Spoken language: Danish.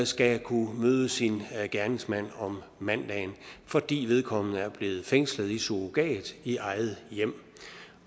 skal kunne møde sin gerningsmand om mandagen fordi vedkommende er blevet fængslet i surrogat i eget hjem